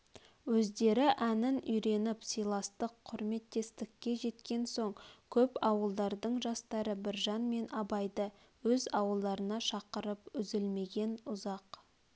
өздері әнін үйреніп сыйластық құрметтестікке жеткен соң көп ауылдардың жастары біржан мен абайды өз ауылдарына шақырып үзлмеген ұзақ